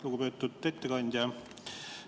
Lugupeetud ettekandja!